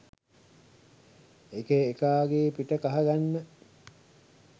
එක එකාගෙ පිට කහගන්න